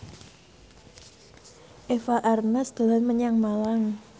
Eva Arnaz dolan menyang Malang